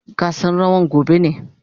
Gasan rawan gobe ne.